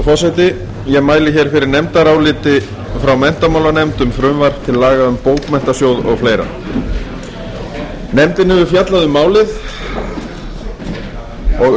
frú forseti ég mæli fyrir nefndaráliti frá menntamálanefnd um frumvarp til laga um bókmenntasjóð og fleiri nefndin hefur fjallað um málið